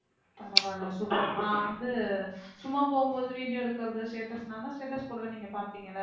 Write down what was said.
பரவாயில்லை super நான் வந்து சும்மா போகும்போது video எடுக்கறது status ன்னா நான் தான் status போடுவேன் நீங்க பார்ப்பீங்க இல்லை